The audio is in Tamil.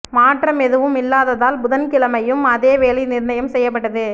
மாற்றம் எதுவும் இல்லாததால் புதன்கிழமையும் அதே விலை நிா்ணயம் செய்யப்பட்டது